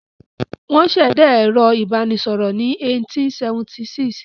Wọ́n ṣẹ̀dá ẹ̀rọ ìbanisọ̀rọ̀ ní 1876.